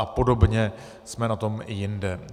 A podobně jsme na tom i jinde.